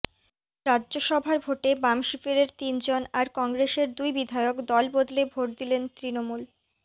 রাজ্যসভার ভোটে বামশিবিরের তিনজন আর কংগ্রেসের দুই বিধায়ক দল বদলে ভোট দিলেন তৃণমূল